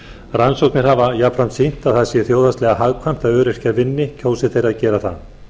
rannsóknir hafa jafnframt sýnt að það sé þjóðhagslega hagkvæmt að öryrkjar vinni kjósi þeir að gera það